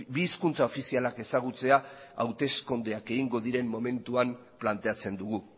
bi hizkuntza ofizialak ezagutzea hauteskundeak egingo diren momentuan planteatzen dugu